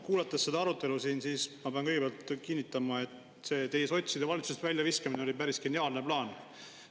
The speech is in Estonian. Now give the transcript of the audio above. Kuulates seda arutelu, pean kõigepealt kinnitama, et sotside valitsusest väljaviskamine oli päris geniaalne plaan.